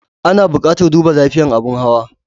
Ana buƙatar duba lafiyar abin hawa.